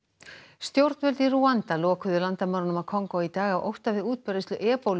stjórnvöld í Rúanda lokuðu landamærunum að Kongó í dag af ótta við útbreiðslu